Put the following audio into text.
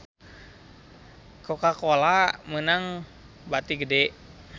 Coca Cola meunang bati gede